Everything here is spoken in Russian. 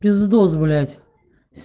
пиздос блять